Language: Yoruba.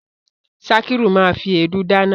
Sakiru ma fi èédú dáná.